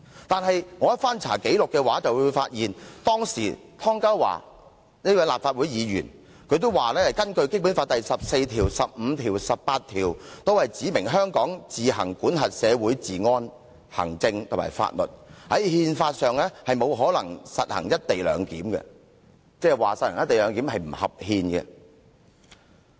但我翻查紀錄後發現，當時仍是立法會議員的湯家驊亦表示，《基本法》第十四條、第十五條和第十八條均訂明，香港自行管轄社會治安、行政和法律，因此，在憲法上，不可能實行"一地兩檢"，即是實行"一地兩檢"是違憲的。